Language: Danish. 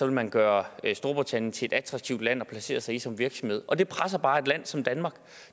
man gøre storbritannien til et attraktivt land at placere sig i som virksomhed og det presser bare et land som danmark